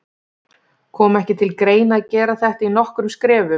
Kom ekki til greina að gera þetta í nokkrum skrefum?